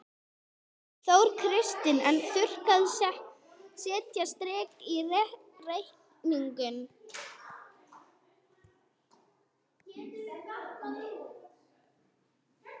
Þóra Kristín: En þurrkarnir setja strik í reikninginn?